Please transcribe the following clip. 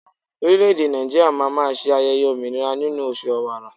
Orileèdè Nàìjíríà má a máa se ayẹyẹ òmìnira nínú oṣù Ọ̀wààrà